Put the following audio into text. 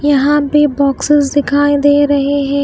यहां पे बॉक्सेस दिखाई दे रहे हैं।